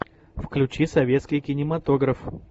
включи советский кинематограф